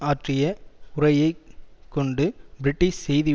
ஆற்றிய உரையை கொண்டு பிரிட்டிஷ் செய்தி